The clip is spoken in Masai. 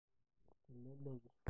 teleleki.